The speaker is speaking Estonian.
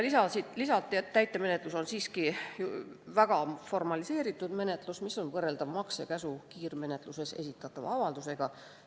Lisati, et täitemenetlus on väga formaliseeritud menetlus, mis on võrreldav maksekäsu kiirmenetluses esitatava avaldusega.